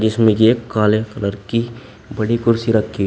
इसमें एक काले कलर की बड़ी कुर्सी रखी है।